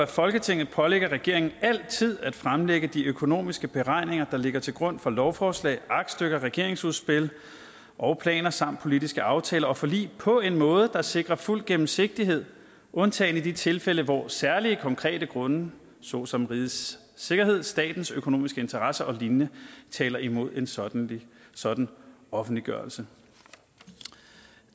folketinget pålægger regeringen altid at fremlægge de økonomiske beregninger der ligger til grund for lovforslag aktstykker regeringsudspil og planer samt politiske aftaler og forlig på en måde der sikrer fuld gennemsigtighed undtagen i de tilfælde hvor særlige konkrete grunde såsom rigets sikkerhed statens økonomiske interesser og lign taler imod en sådan sådan offentliggørelse